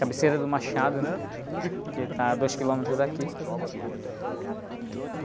Cabeceira do Machado, né? Que está a dois quilômetros daqui.